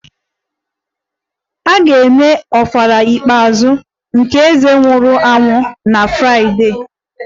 A ga-eme ofala ikpeazụ nke eze nwụrụ anwụ na Fraịdee